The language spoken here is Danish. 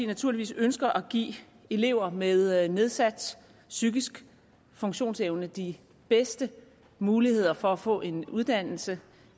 naturligvis ønsker at give elever med nedsat psykisk funktionsevne de bedste muligheder for at få en uddannelse